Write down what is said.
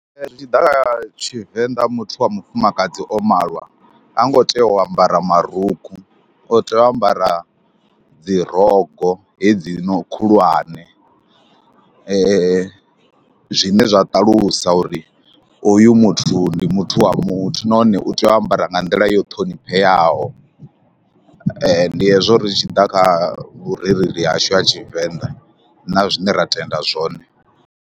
Ee zwi tshi ḓa kha Tshivenḓa muthu wa mufumakadzi o malwa ha ngo tea u ambara marukhu, o tea u ambara dzi rogo hedzino khulwane, zwine zwa ṱalusa uri hoyu muthu ndi muthu wa muthu nahone u tea u ambara nga nḓila yo ṱhonipheaho. Ndi hezwo ri tshi ḓa kha vhurereli hashu ha Tshivenḓa na zwine ra tenda zwone.